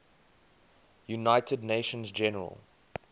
united nations general